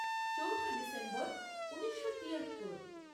চৌঠা ডিসেম্বর ঊনিশো তিয়াত্তর